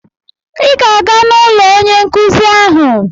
Ị ga-aga n'ụlọ onye nkụzi ahụ!